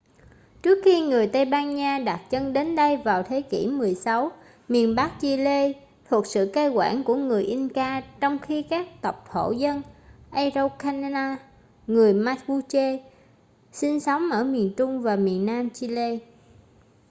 trước khi người tây ban nha đặt chân đến đây vào thế kỷ 16 miền bắc chile thuộc sự cai quản của người inca trong khi các tộc thổ dân araucanian người mapuche sinh sống ở miền trung và miền nam chile